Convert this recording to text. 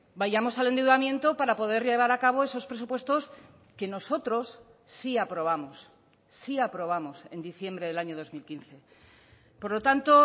vayamos al endeudamiento para poder llevar a cabo esos presupuestos que nosotros sí aprobamos sí aprobamos en diciembre del año dos mil quince por lo tanto